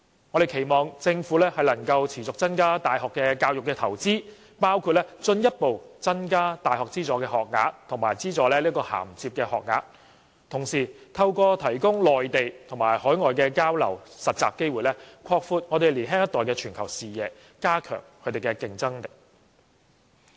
我們期望政府能夠持續增加大學教育的投資，包括進一步增加大學資助學額及資助銜接學額，同時透過提供內地和海外的交流及實習機會，擴闊年輕一代的全球視野，加強他們的競爭力。